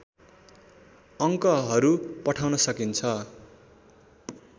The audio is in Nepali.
अङ्कहरू पठाउन सकिन्छ